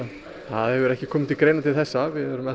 það hefur ekki komið til greina til þessa við erum enn